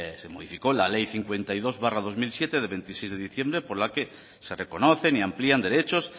se modificó la ley cincuenta y dos barra dos mil siete de veintiséis de diciembre por la que se reconocen y amplían derechos